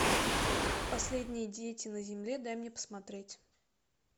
последние дети на земле дай мне посмотреть